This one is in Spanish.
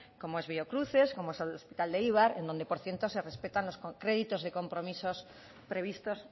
como es biocruces como es el hospital de eibar en donde por cierto se respetan los créditos de compromisos previstos